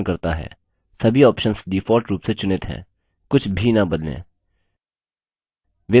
सभी options default रूप से चुनित हैं कुछ भी न बदलें